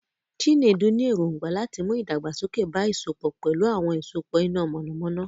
Chinedu ní èrògbà láti mú ìdàgbàsókè bá ìsopọ̀ pẹ̀lú àwọn ìsopọ̀ iná mọ̀nàmọ́ná.